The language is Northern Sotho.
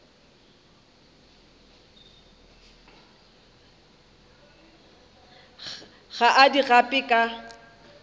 ga a di gape ka